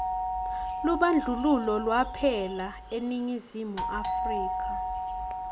lubandlululo lwaphela eningizimu afrika